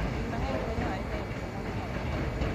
Winy mang'eny konyo ahinya e rito mwandu mag piny.